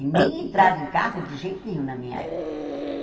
E nem entrava em carro de jeito nenhum na minha época.